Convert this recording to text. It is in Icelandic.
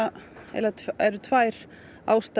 eiginlega tvær ástæður